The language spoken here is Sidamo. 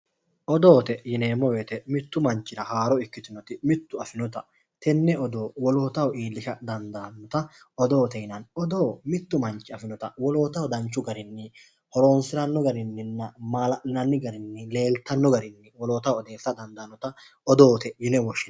Odoote yineemmo woyiite mittu manchira haaro ikkitinota mittu afinota wolootaho tenne odoo wolootaho iillisha dandaannota odoote yinanni odoo mittu manchi afinota wolootaho danchu garinni horonsiranno garinninna leeltanno garinni woloottaho odeessa dandaannota odoote yineemmo